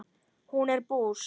Hún er bús.